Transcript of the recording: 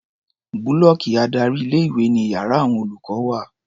Búlọ́ọ̀kì adárí ilé-ìwé ni iyàrá àwon olùkọ́ wà.